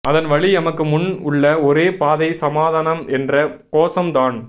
அதன் வழி எமக்கு முன் உள்ள ஒரே பாதை சமாதனம் என்ற கோசம் தான்